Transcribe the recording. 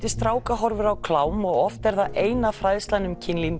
stráka horfir á klám og oft er það eina fræðslan um kynlíf